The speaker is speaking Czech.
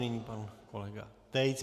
Nyní pan kolega Tejc.